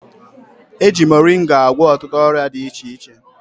Eji moringa agwọ ọtụtụ ọrịa dị iche iche